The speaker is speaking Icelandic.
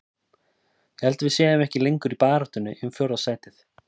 Ég held að við séum ekki lengur í baráttunni um fjórða sætið.